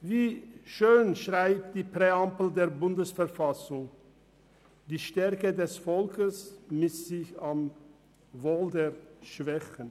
Wie schön schreibt die Präambel der BV, «dass die Stärke des Volkes sich misst am Wohl der Schwachen».